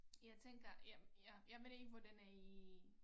Jeg tænker jamen jeg jeg ved ikke hvordan i